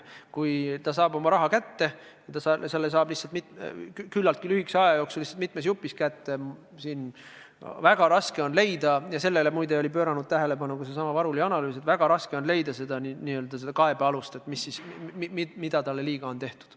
Kui inimene saab oma raha kätte ja ta saab selle kätte küllaltki lühikese aja jooksul, lihtsalt mitme jupina, siis on väga raske leida – ja sellele, muide, on pööranud tähelepanu ka seesama Varuli analüüs – seda n-ö kaebealust ja seda, kuidas kellelegi liiga on tehtud.